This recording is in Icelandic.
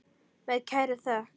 Með kærri þökk.